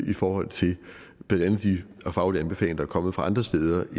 i forhold til blandt andet de faglige anbefalinger der er kommet fra andre steder